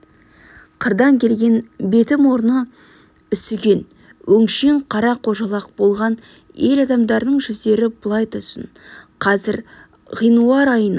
қырдан келген беті-мұрны үсіген өңшең қара қожалақ болған ел адамдарының жүздері былай тұрсын қазір ғинуар айының